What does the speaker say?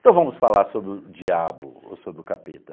Então vamos falar sobre o diabo ou sobre o capeta.